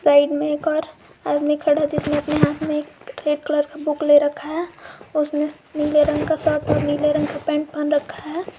Side में एक और आदमी खड़ा जिसने अपने हाथ में एक रेड कलर का बुक ले रखा है उसने नीले रंग का शर्ट और नीले रंग का पैंट पहन रखा है।